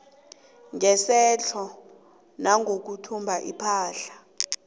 ngesetjho nangokuthumba ipahla